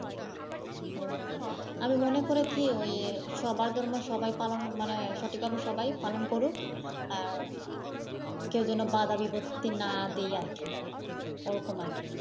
উম আমি মনে করি কি সবার ধর্ম সবাই পালন মানে সঠিকভাবে সবাই পালন করুক, আহ কেউ যেন বাধা বিপিত্তি না দেয় আর কি । ওরকম আর কি।